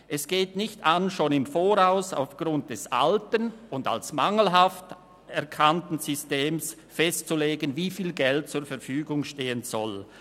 Es geht nicht an, schon im Voraus aufgrund des alten und als mangelhaft erkannten Systems festzulegen, wie viel Geld zur Verfügung stehen soll.